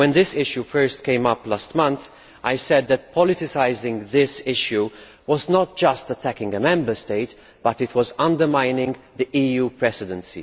When this issue first came up last month, I said that politicising this issue was not just attacking a Member State, but was also undermining the EU Presidency.